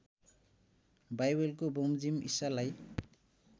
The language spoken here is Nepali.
बाइबलको बमोजिम़ ईशालाई